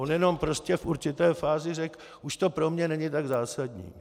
On jenom prostě v určité fázi řekl: Už to pro mne není tak zásadní.